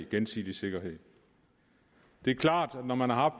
gensidig sikkerhed det er klart at når man har